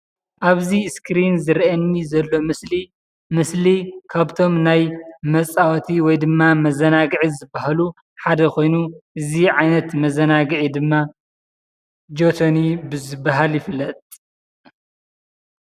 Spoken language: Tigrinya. ኣብዚ እስክሪን ዝረአየኒ ዘሎ ምስሊ፡ ምስሊ ካብቶም ናይ መፃወቲ ወይ ድማ መዘናግዒ ዝባሃሉ ሓደ ኾይኑ እዚ ዓይነት መዘናግዒ ድማ ጆቶኒ ብዝባሃል ይፍለጥ፡፡